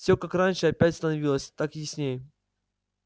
всё как раньше опять становилось так ясней